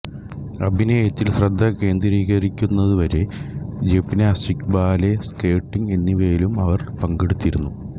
അഭിനയത്തിൽ ശ്രദ്ധ കേന്ദ്രീകരിക്കുന്നതുവരെ ജിംനാസ്റ്റിക്സ് ബാലെ സ്കേറ്റിംഗ് എന്നിവയിലും അവർ പങ്കെടുത്തിരുന്നു